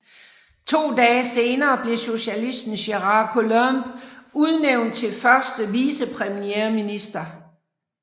To dage senere blev socialisten Gérard Collomb udnævnt til første vicepremierminister